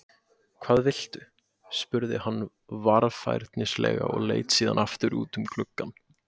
Hvað viltu? spurði hún varfærnislega og leit síðan aftur út um gluggann.